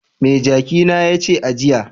Me jaki na ya ci a jiya?